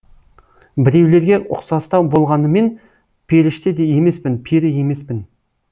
біреулерге ұқсастау болғаныммен періште де емеспін пері емеспін